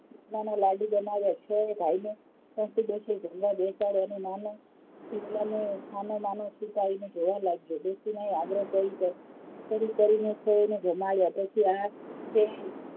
જમવામાં લાડું બનાવ્યા છો એ ભાઈ ને સાથે બેસી જમવા બેસાડીયા અને નાનો શિવલા ને છાનો -માનો છુપાવિને જોવા લાગ્યો ડોશી ને આગ્રહ કરી કરીને છો એ ને જમાડયાં પછી આ તે,